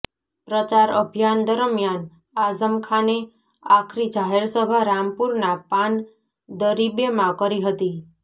પ્રચાર અભિયાન દરમિયાન આઝમખાને આખરી જાહેરસભા રામપુરના પાન દરીબેમાં કરી હતી